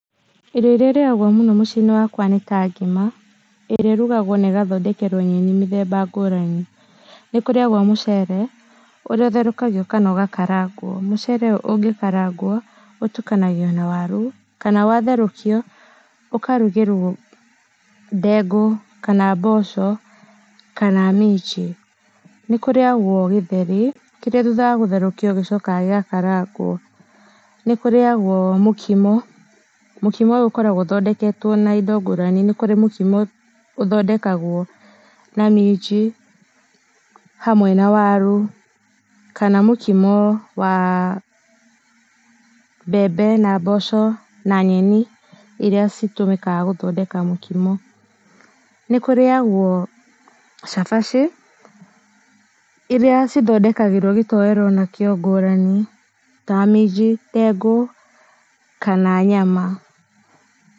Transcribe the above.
Irio irĩa ĩrĩagwo mũno mũciĩ inĩ wakwa nĩ ta ngima ĩrĩa ũrũgagwo na ĩgathondekerwo nyeni mĩthemba ngũrani nĩ kũriagwo mũcere ũrĩa ũtherũkagio kana ũgakarangwo mũcere ũgĩkarangwo ũtũkangio na warũ kana watherũkio ũkarũgĩrwo ndengũ kana mboco kana minji, nĩ kũrĩagwo gĩtheri kĩrĩa thũtha wa gũtherũkio gĩcokaga gĩgakarangwo, nĩkũrĩagwo mũkimo mũkimo ũyũ ũkoragwo ũthondeketwo na indo ngũrani nĩ kũrĩ mũkimo ũthondekagwo na minji hamwe na warũ kana mũkimo wa mbembe na mboco na nyeni irĩa itũmĩkaga gũthondeka mũkimo. nĩkũrĩagwo cabaci iria cithondekagĩrwo gĩtoero na kĩo ngũrani na minji, ndengũ kana nyama.